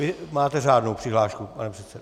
Vy máte řádnou přihlášku, pane předsedo.